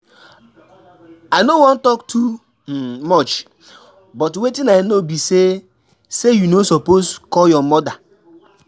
I no wan talk too um much but wetin I know be say say you no suppose call your mother.